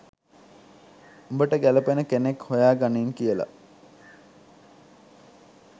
උඹට ගැලපෙන කෙනෙක් හොයාගනින් කියලා